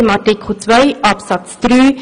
Dort werden in Artikel 2 Absatz 3